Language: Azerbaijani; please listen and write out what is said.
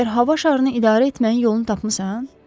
Məgər hava şarını idarə etməyin yolunu tapmısan?